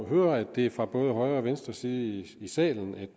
høre at det er fra både højre og venstre side i salen at